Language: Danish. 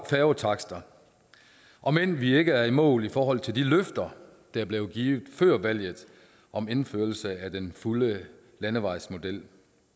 færgetakster om end vi ikke er i mål i forhold til de løfter der blev givet før valget om indførelse af den fulde landevejsmodel